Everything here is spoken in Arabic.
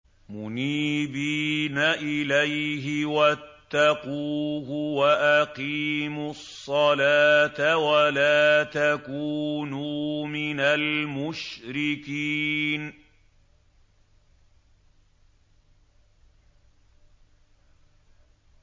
۞ مُنِيبِينَ إِلَيْهِ وَاتَّقُوهُ وَأَقِيمُوا الصَّلَاةَ وَلَا تَكُونُوا مِنَ الْمُشْرِكِينَ